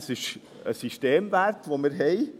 Das ist ein Systemwert, den wir haben.